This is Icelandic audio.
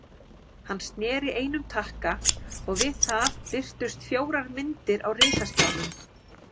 Hann sneri einum takka og við það birtust fjórar myndir á risaskjánum.